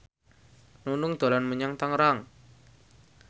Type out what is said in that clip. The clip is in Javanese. Nunung dolan menyang Tangerang